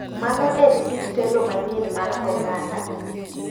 Mano en kit telo manyien mar oganda.